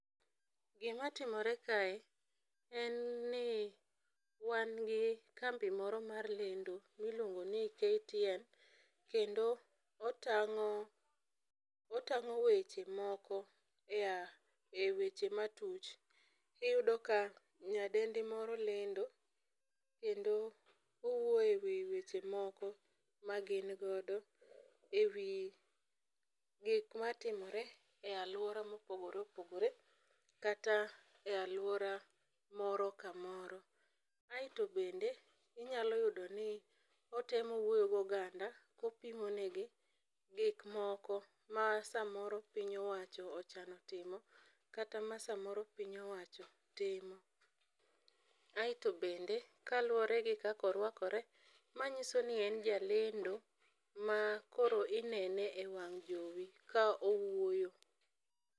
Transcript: Gima timore kae, en ni wan gi kambi moro mara lendo miluongo ni KTN, kendo otang'o weche moko e weche matuch. Iyudo ka nyadendi moro lendo kendo owuoyo e wi weche moko ma gin godo e wii gik matimore e alwora mopogoreopogore, kata e alwora moro kamoro. Aito bende, inyalo yudo ni, otemo wuoyo gi oganda kopimonegi gik moko ma samoro piny owacho ochano timo kata ma samoro piny owacho timo. Aito bende , kaluwore gi kaka orwakore , ma nyiso ni en jalendo ma koro inene e wang' jowi ka owuoyo.